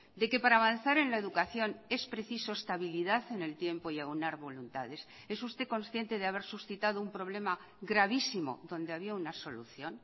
de que para avanzar en la educación es preciso estabilidad en el tiempo y aunar voluntades es usted consciente de haber suscitado un problema gravísimo donde había una solución